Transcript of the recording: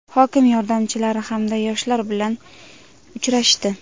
hokim yordamchilari hamda yoshlar bilan uchrashdi.